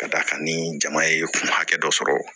Ka d'a kan ni jama ye kun hakɛ dɔ sɔrɔ